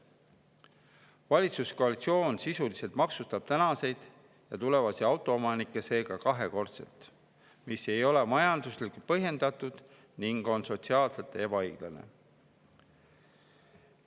Valitsuskoalitsioon sisuliselt maksustab tänaseid ja tulevasi autoomanikke seega kahekordselt, mis ei ole majanduslikult põhjendatud ning on sotsiaalselt ebaõiglane.